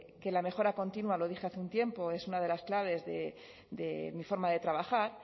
que la mejora continua lo dije hace un tiempo es una de las claves de mi forma de trabajar